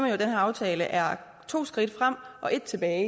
at den her aftale er to skridt frem og ét tilbage